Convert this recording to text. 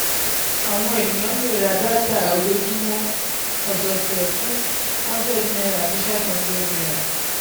àwọn ènìyàn lè ra dátà ojoojúmọ́/ọ̀sẹ̀ọ̀sẹ̀ fún hundred naira àti five hundred naira